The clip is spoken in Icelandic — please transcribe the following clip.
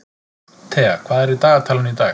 Thea, hvað er í dagatalinu í dag?